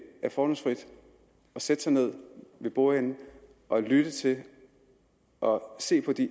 er fordomsfrit at sætte sig ned ved bordenden og lytte til og se på de